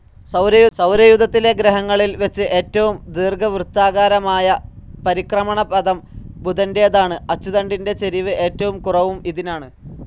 സൗരയൂഥത്തിലെ ഗ്രഹങ്ങളിൽ വെച്ച് ഏറ്റവും ദീർഘവൃത്താകാരമായ പരിക്രമണപഥം ബുധന്റേതാണ്‌, അച്ചുതണ്ടിന്റെ ചെരിവ് ഏറ്റവും കുറവും ഇതിനാണ്‌.